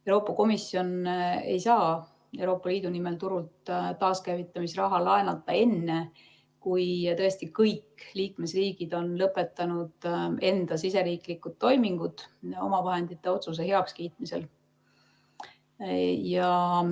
Euroopa Komisjon ei saa Euroopa Liidu nimel turult taaskäivitamisraha laenata enne, kui tõesti kõik liikmesriigid on lõpetanud enda siseriiklikud toimingud omavahendite otsuse heakskiitmisel.